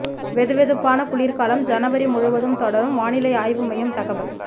வெதுவெதுப்பான குளிர்காலம் ஜனவரி முழுவதும் தொடரும் வானிலை ஆய்வு மையம் தகவல்